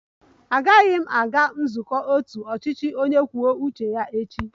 Agaghị m aga nzukọ otu ọchịchị onye kwuo uche ya echi